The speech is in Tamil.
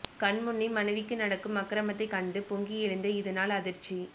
கண்முன்னே மனைவிக்கு நடக்கும் அக்கிரமத்தைக் கண்டு பொங்கி எழுந்த இதனால் அதிர்ச்சி